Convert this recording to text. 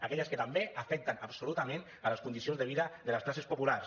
aquelles que també afecten absolutament les condicions de vida de les classes populars